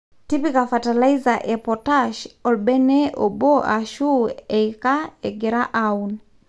tipika fertiliser e potash olbene obo ashu eika ingira aaun